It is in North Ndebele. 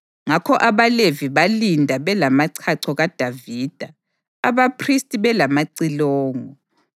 Ngakho abaLevi balinda belamachacho kaDavida, abaphristi belamacilongo.